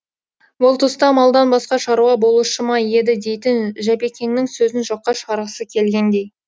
бұл тұста малдан басқа шаруа болушы ма еді дейтін жапекеңнің сөзін жоққа шығарғысы келгендей